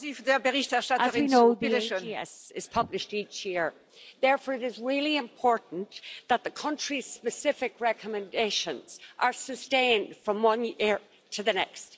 Madam President, as we know, the AGS is published each year. Therefore it is really important that the country specific recommendations are sustained from one year to the next.